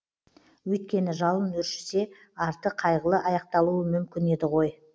өйткені жалын өршісе арты қайғылы аяқталуы мүмкін еді ғой